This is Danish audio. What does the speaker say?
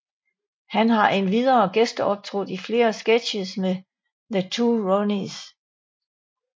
Han har endvidere gæsteoptrådt i flere sketches med The Two Ronnies